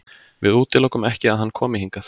Við útilokum ekki að hann komi hingað.